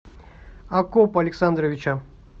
акопа александровича